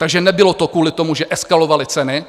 Takže nebylo to kvůli tomu, že eskalovaly ceny.